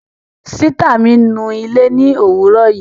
Sìtá mi nu ilé ni òwúrò yìí